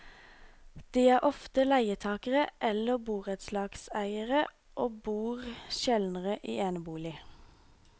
De er oftere leietakere eller borettslags eiere og bor sjeldnere i enebolig.